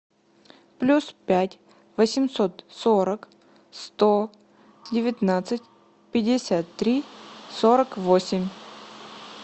плюс пять восемьсот сорок сто девятнадцать пятьдесят три сорок восемь